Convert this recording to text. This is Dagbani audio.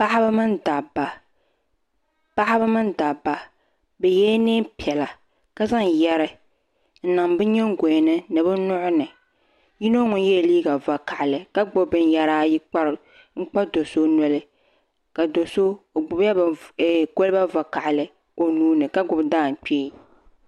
paɣaba mini dabba bɛ yɛla niɛn piɛla ka zaŋ yɛri n niŋ bɛ nyingoyani ni bɛ nuhini yino ŋun yela liiga vakahali ka gbibi binyɛra n kpa do'so noli ka do'so o gbibla koliba vakahali o nuuni ka gbibi daangbee.